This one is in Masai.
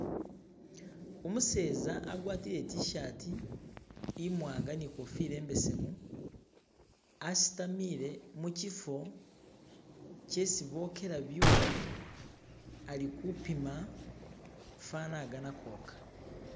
Umuseza agwatile itishati imwanga ninkofila imbesemu asitamile mu shifo shesi boshela ibyuma alikupima fana agana kwosha.